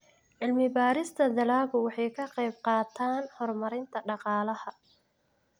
Cilmi-baarista dalaggu waxay ka qaybqaadataa horumarinta dhaqaalaha.